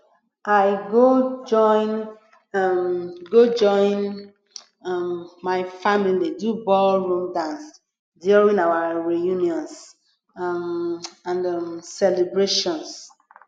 i go join um go join um my family do ballroom dance during our reunions um and um celebrations